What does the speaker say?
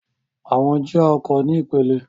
Àwọn jía ọkọ̀ ní ipele.